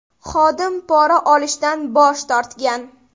Xodim pora olishdan bosh tortgan.